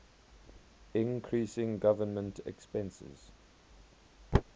increasing government expenses